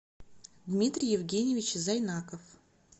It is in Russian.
дмитрий евгеньевич зайнаков